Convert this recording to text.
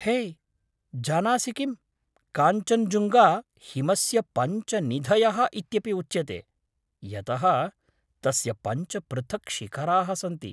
हे, जानासि किं, काञ्चञ्जुङ्गा 'हिमस्य पञ्च निधयः' इत्यपि उच्यते, यतः तस्य पञ्च पृथक् शिखराः सन्ति?